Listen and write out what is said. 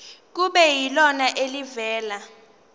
kube yilona elivela